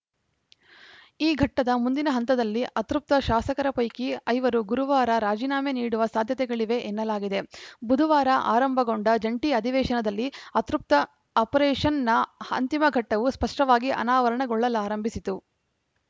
ಈ ಘಟ್ಟದ ಮುಂದಿನ ಹಂತದಲ್ಲಿ ಅತೃಪ್ತ ಶಾಸಕರ ಪೈಕಿ ಐವರು ಗುರುವಾರ ರಾಜೀನಾಮೆ ನೀಡುವ ಸಾಧ್ಯತೆಗಳಿವೆ ಎನ್ನಲಾಗಿದೆ ಬುಧವಾರ ಆರಂಭಗೊಂಡ ಜಂಟಿ ಅಧಿವೇಶನದಲ್ಲಿ ಅತೃಪ್ತ ಆಪರೇಷನ್‌ನ ಅಂತಿಮ ಘಟ್ಟವು ಸ್ಪಷ್ಟವಾಗಿ ಅನಾವರಣಗೊಳ್ಳಲಾರಂಭಿಸಿತು